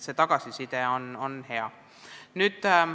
Tagasiside on hea.